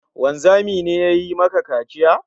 Wanzami ne ya yi maka kaciya?